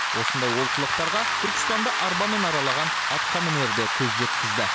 осындай олқылықтарға түркістанды арбамен аралаған атқамінер де көз жеткізді